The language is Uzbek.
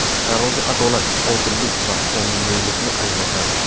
Tarozi adolat, odillik va qonuniylikni anglatadi.